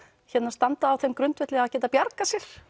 standa á þeim grundvelli að geta bjargað sér